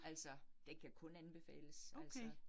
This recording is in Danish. Altså den kan kun anbefales altså